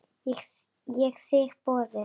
Ég þigg boðið.